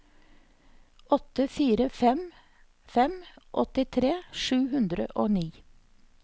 åtte fire fem fem åttitre sju hundre og ni